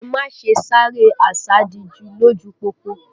Ẹ má ṣe sáré àsádijú lójú u pópó!